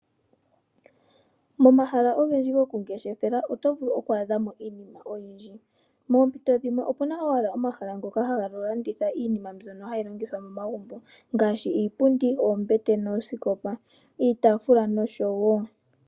Momahala gokungeshefela oto vulu okwaadhamo iinima oyindji moompito dhimwe opu na owala omahala ngoka haga landitha iinima mbyono hayi longithwa momagumbo ngaashi iipundi, oombete noosikopa.